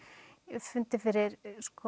hef fundið fyrir